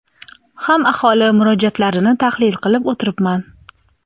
ham aholi murojaatlarini tahlil qilib o‘tiribman.